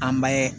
An bɛ